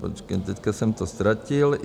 Počkejte, teď jsem to ztratil...